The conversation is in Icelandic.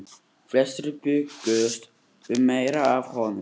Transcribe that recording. Flestir bjuggust við meiru af honum.